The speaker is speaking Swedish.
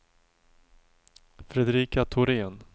Fredrika Thorén